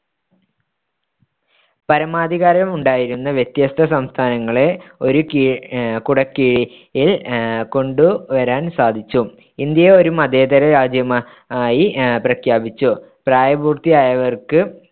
പരമാധികാരമുണ്ടായിരുന്ന വ്യത്യസ്ത സംസ്ഥാനങ്ങളെ ഒരു കിഴ കുടക്കീഴിൽ കൊണ്ടുവരാൻ സാധിച്ചു ഇന്ത്യയെ ഒരു മതേതര രാജ്യമായി അഹ് പ്രഖ്യാപിച്ചു പ്രായപൂർത്തിയായവർക്ക്‌